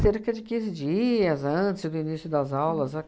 cerca de quinze dias antes do início das aulas, né?